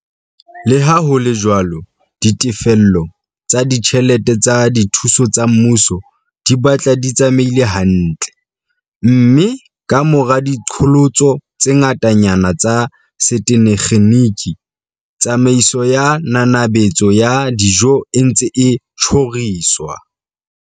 Leha ho le jwalo, ditefello tsa ditjhelete tsa dithuso tsa mmuso di batla di tsamaile hantle, mme kamora diqholotso tse ngata-nyana tsa setekgeniki, tsamaiso ya nanabetso ya dijo e ntse e tjhoriswa.